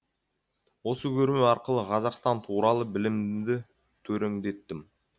осы көрме арқылы қазақстан туралы білімімді төреңдеттім